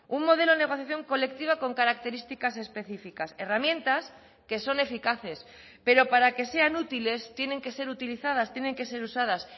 un modelo de negociación colectiva con características específicas herramientas que son eficaces pero para que sean útiles tienen que ser utilizadas tienen que ser usadas